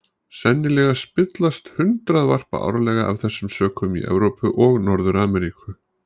Sennilega spillast hundruð varpa árlega af þessum sökum í Evrópu og Norður-Ameríku.